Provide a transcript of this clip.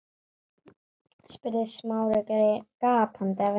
spurði Smári gapandi af undrun.